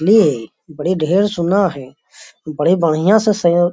ने बड़ी ढेर सुन्ना है बड़ी बढ़िया से सयं